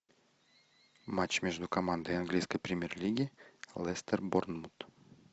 матч между командой английской премьер лиги лестер борнмут